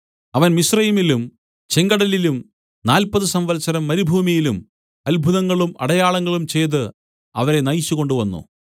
അവൻ മിസ്രയീമിലും ചെങ്കടലിലും നാല്പതു സംവത്സരം മരുഭൂമിയിലും അത്ഭുതങ്ങളും അടയാളങ്ങളും ചെയ്ത് അവരെ നയിച്ചുകൊണ്ടുവന്നു